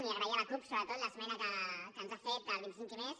i agrair a la cup sobretot l’esmena que ens ha fet dels vint set i més